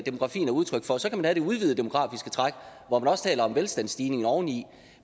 udtryk for så kan man have det udvidede demografiske træk hvor man også taler om velstandsstigningen oveni